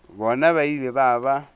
bona ba ile ba ba